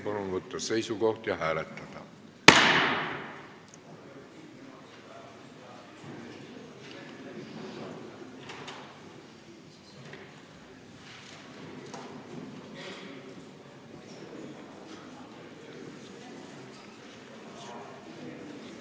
Palun võtta seisukoht ja hääletada!